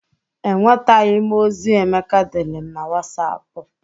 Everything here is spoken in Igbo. Enwetaghị m ozi Emeka deere m na Wasapụ.